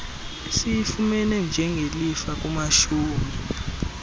esiyifumene njengelifa kumashumi